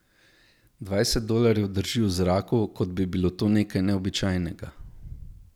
Dvajset dolarjev drži v zraku, kot bi bilo to nekaj neobičajnega.